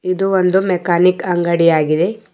ಇದು ಒಂದು ಮೆಕಾನಿಕ್ ಅಂಗಡಿ ಆಗಿದೆ.